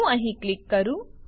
હું અહીં ક્લિક કરું